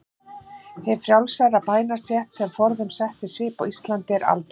Hin frjálsa bændastétt, sem forðum setti svip á Ísland, er aldauða.